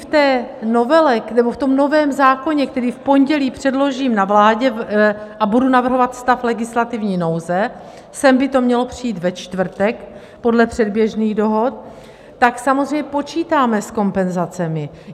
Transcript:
V té novele nebo v tom novém zákoně, který v pondělí předložím na vládě, a budu navrhovat stav legislativní nouze, sem by to mělo přijít ve čtvrtek podle předběžných dohod, tak samozřejmě počítáme s kompenzacemi.